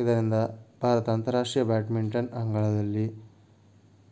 ಇದರಿಂದ ಭಾರತ ಅಂತರರಾಷ್ಟ್ರೀಯ ಬ್ಯಾಡ್ಮಿಂಟನ್ ಅಂಗಳದಲ್ಲಿ